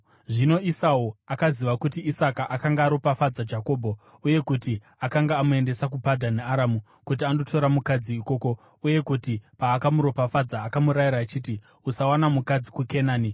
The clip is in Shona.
Zvino Esau akaziva kuti Isaka akanga aropafadza Jakobho uye kuti akanga amuendesa kuPadhani Aramu kuti andotora mukadzi ikoko, uye kuti paakamuropafadza akamurayira achiti, “Usawana mukadzi muKenani,”